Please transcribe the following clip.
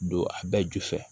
Don a bɛɛ ju fɛ